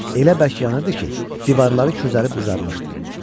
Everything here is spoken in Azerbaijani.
Elə bərk yanırdı ki, divarları közərib qızarmışdı.